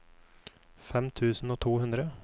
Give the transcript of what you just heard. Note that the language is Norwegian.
fem tusen og to hundre